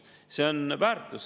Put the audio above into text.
See on väärtus.